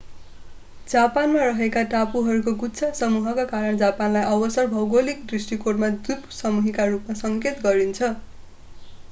जापानमा रहेका टापुहरूको गुच्छा/समूहका कारण जापानलाई अक्सर भौगोलिक दृष्टिकोणमा द्वीपसमूह” का रूपमा सङ्केत गरिन्छ।